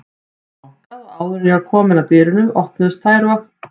Það var bankað og áður en ég var komin að dyrunum, opnuðust þær og